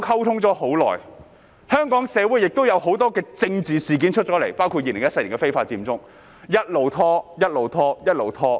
此時，香港社會亦出現有很多政治事件，包括2014年的非法佔中，接下來便一直拖延。